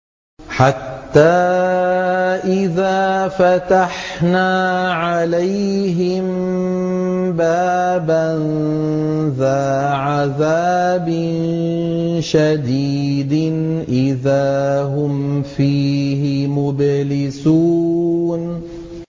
حَتَّىٰ إِذَا فَتَحْنَا عَلَيْهِم بَابًا ذَا عَذَابٍ شَدِيدٍ إِذَا هُمْ فِيهِ مُبْلِسُونَ